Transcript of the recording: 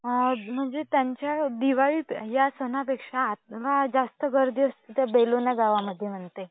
म्हणजे दिवाळी या सणापेक्षा ह्या वेळी जास्त गर्दी असते त्या बेलोना गावामध्ये म्हणते?